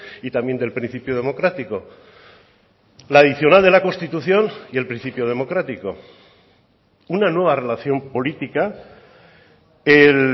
y también del principio democrático la adicional de la constitución y el principio democrático una nueva relación política el